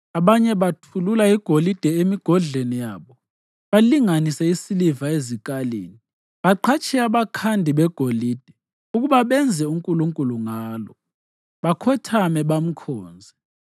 Abanye bathulula igolide emigodleni yabo balinganise isiliva ezikalini; baqhatshe abakhandi begolide ukuba benze unkulunkulu ngalo, bakhothame, bamkhonze.